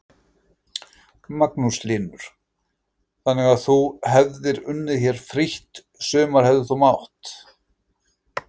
Magnús Hlynur: Þannig að þú hefðir unnið hér frítt sumar hefðir þú mátt?